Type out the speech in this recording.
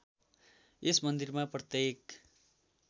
यस मन्दिरमा प्रत्येक